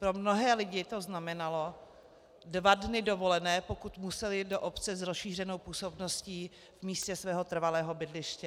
Pro mnohé lidi to znamenalo dva dny dovolené, pokud museli do obce s rozšířenou působností v místě svého trvalého bydliště.